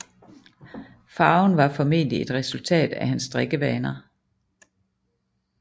Farven var formentlig et resultat af hans drikkevaner